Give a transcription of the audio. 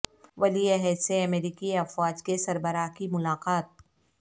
ولی عہد سے امریکی افواج کے سربراہ کی ملاقات